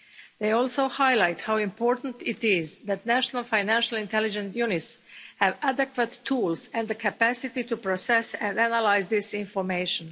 They also highlight how important it is that national financial intelligence units have adequate tools and the capacity to process and analyse this information.